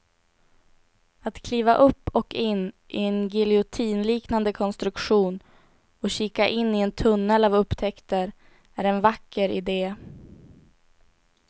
Att kliva upp och in i en giljotinliknande konstruktion och kika in i en tunnel av upptäckter är en vacker idé.